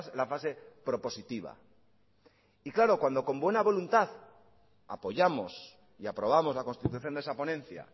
la fase propositiva y claro cuando con buena voluntad apoyamos y aprobamos la constitución de esa ponencia